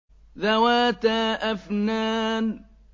ذَوَاتَا أَفْنَانٍ